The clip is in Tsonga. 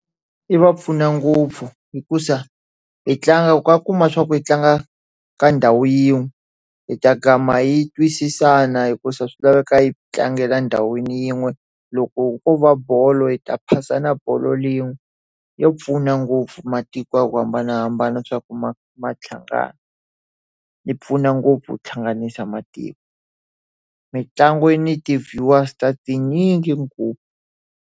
Yi va pfuna ngopfu hikuva hi tlanga ka kuma swa ku yi tlanga ka ndhawu yin'we, hi ta kama yi twisisana hikuva swi laveka yi tlangela ndhawini yin'we. Loko ko va bolo hi ta phasana bolo yin'we. Ya pfuna ngopfu matiko ya ku hambanahambana swa ku ma hlangana. Yi pfuna ngopfu hlanganisa matiko. Mitlangu ni ti-viewers ta tinyingi .